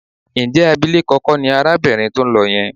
Ǹjẹ́ abilékọ kọ́ ni arábìnrin tó ń lọ yẹn?